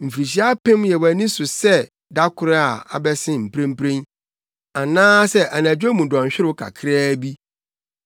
Mfirihyia apem yɛ wʼani so sɛ da koro a abɛsen mprempren, anaasɛ anadwo mu dɔnhwerew kakraa bi.